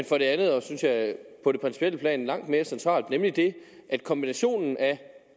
for det andet noget synes jeg på det principielle plan langt mere centralt nemlig at kombinationen af